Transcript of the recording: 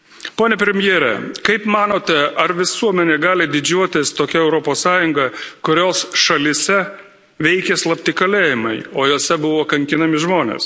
Pone premjere, kaip manote, ar visuomenė gali didžiuotis tokia Europos Sąjunga, kurios šalyse veikia slapti kalėjimai, o juose buvo kankinami žmonės?